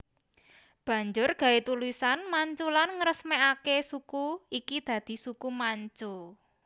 Banjur gawé tulisan Manchulan ngresmekake suku iki dadi Suku Manchu